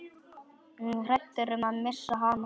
Hræddur um að missa hana.